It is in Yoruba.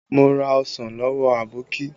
Mo ra ọsàn lọ́wọ́ Aboki